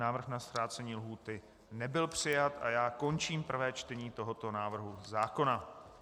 Návrh na zkrácení lhůty nebyl přijat a já končím prvé čtení tohoto návrhu zákona.